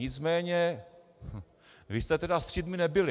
Nicméně vy jste tedy střídmí nebyli.